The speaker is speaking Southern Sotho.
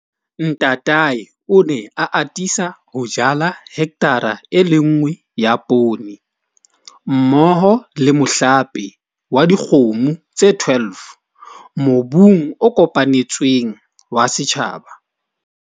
Ntatae o ne a atisa ho jala hekthara e le nngwe ya poone, mmoho le mohlape wa dikgomo tse 12 mobung o kopanetsweng wa setjhaba.